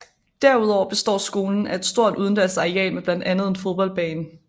Derudover består skolen af et stort udendørs areal med blandt andet en fodboldbane